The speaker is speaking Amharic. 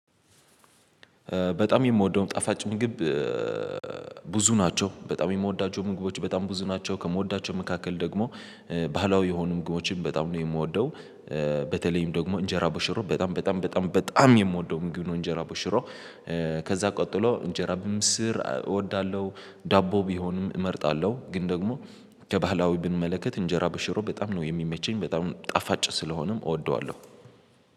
በጣም የምወደውም ጣፋጭ ምግብ ብዙ ናቸው በጣም የምወዳቸው ምግቦች በጣም ብዙ ናቸው ከምወዳቸው መካከል ደግሞ ባህላዊ የሆኑ ምግቦችን በጣም ነው የምወደው። በተለይም ደግሞ እንጀራ በሽሮ በጣም በጣም በጣም በጣም የምወደው ምግብ ነው። እንጀራ ቦሽሮ ከዛ ቀጥሎ እንጀራ በምስር እወዳለሁ። ዳቦ ቢሆንም እመርጣለሁ ግን ደግሞ ከባህላዊ ብንመለከት እንጀራ በሽሮ በጣም ነው የሚመቸኝ በጣም ጣፋጭ ስለሆነም እወደዋለሁ